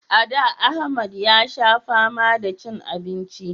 A da Ahmad ya sha fama da cin abinci